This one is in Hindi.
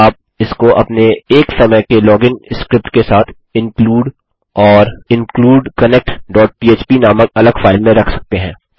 आप इसको अपने एक समय के लॉगिन स्क्रिप्ट के साथ include and include connect php नामक अलग फाइल में रख सकते हैं